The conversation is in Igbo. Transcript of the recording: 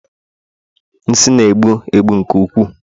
nsị na-egbu egbu nke ukwuu